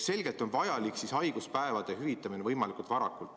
Selgelt on vajalik haiguspäevade hüvitamine võimalikult varakult.